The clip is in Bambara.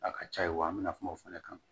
A ka ca ye wa an bɛna kuma o fana kan